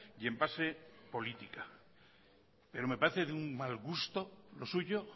y en base política pero me parece de un mal gusto lo suyo